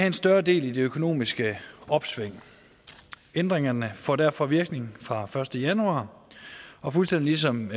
en større del i det økonomiske opsving ændringerne får derfor virkning fra den første januar og fuldstændig ligesom